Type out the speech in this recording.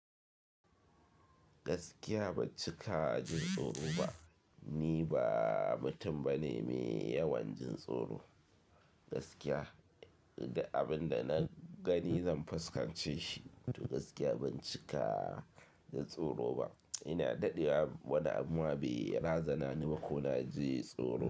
Gaskiya ban cika jin tsoro ba. Ni ba mutum bane mai yawan jin tsoro. Gaskiya, abin da na gani zan fuskance shi. To gaskiya ban cika jin tsoro ba. Ina daɗewa wani abu ba ya razana ni ba ko na ji tsoro.